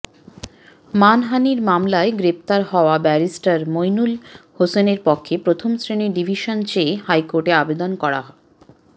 মানহানির মামলায় গ্রেপ্তার হওয়া ব্যারিস্টার মইনুল হোসেনের পক্ষে প্রথম শ্রেণির ডিভিশন চেয়ে হাইকোর্টে আবেদন করা